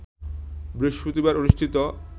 বৃহস্পতিবার অনুষ্ঠিত